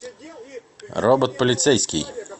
робот полицейский